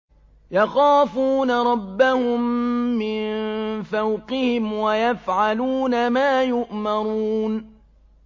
يَخَافُونَ رَبَّهُم مِّن فَوْقِهِمْ وَيَفْعَلُونَ مَا يُؤْمَرُونَ ۩